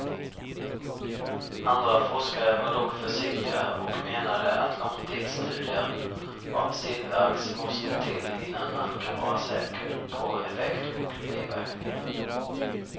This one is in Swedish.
Andra forskare var dock försiktigare och menade att långtidsstudier av silverax måste till innan man kan vara säker på effekt och biverkningar.